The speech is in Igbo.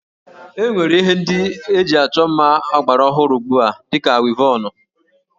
E nwere Ihe ndị eji achọ mma ọgbara ọhụrụ ugbu a dị ka wivọnụ